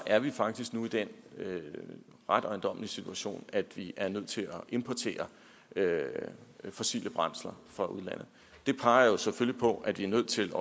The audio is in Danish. er vi faktisk nu i den ret ejendommelige situation at vi er nødt til at importere fossile brændsler fra udlandet det peger jo selvfølgelig også på at vi er nødt til